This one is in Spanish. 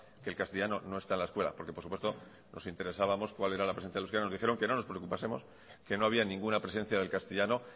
que el castellano no está en la escuela porque por supuesto nos interesábamos cual era la presencia del euskera nos dijeron que no nos preocupásemos que no había ninguna presencia del castellano